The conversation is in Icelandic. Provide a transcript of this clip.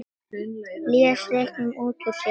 Blés reyknum út úr sér.